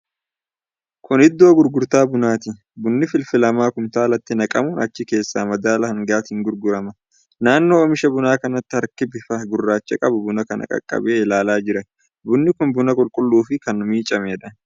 Kuni iddoo gurgurtaa bunaati. Bunni filfilamaa kumtaalatti naqamuun achi keessaa madaala hangaatiin gurgurama. Naannoo oomisha bunaa kanatti harki bifa gurraacha qabu buna kana qaqqabee ilaalaa jira. Bunni kun buna qulqulluu fi kan miicameedha.